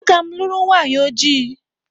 Agam luru nwanyi oji.